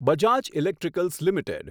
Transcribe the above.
Bajaj electricals limited